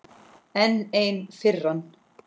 Enn ein firran.